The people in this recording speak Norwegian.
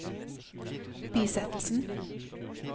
bisettelsen